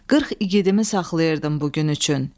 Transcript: Qırx igidimi saxlayırdım bu gün üçün.